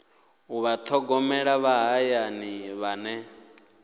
u vhathogomeli vha hayani vhane